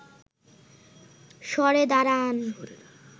সরে দাঁড়ান